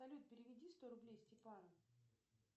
салют переведи сто рублей степану